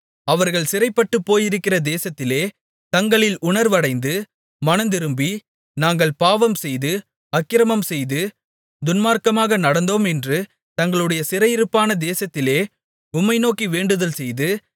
அவர்கள் சிறைப்பட்டுப் போயிருக்கிற தேசத்திலே தங்களில் உணர்வடைந்து மனந்திரும்பி நாங்கள் பாவம்செய்து அக்கிரமம்செய்து துன்மார்க்கமாக நடந்தோம் என்று தங்களுடைய சிறையிருப்பான தேசத்திலே உம்மை நோக்கி வேண்டுதல் செய்து